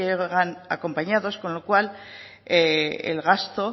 o van acompañados con lo cual el gasto